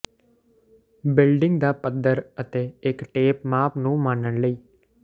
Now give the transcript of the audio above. building ਦਾ ਪੱਧਰ ਅਤੇ ਇੱਕ ਟੇਪ ਮਾਪ ਨੂੰ ਮਾਪਣ ਲਈ